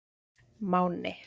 Máni